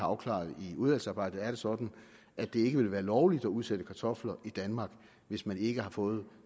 afklaret i udvalgsarbejdet er det sådan at det ikke ville være lovligt at udsætte kartofler i danmark hvis man ikke har fået